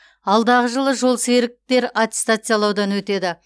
алдағы жылы жолсеріктер аттестациялаудан өтеді